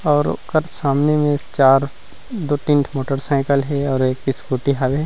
और ओकर सामने मे एक चार दो तीन ठो मोटरसाइकिल है और एक स्कूटी हवे।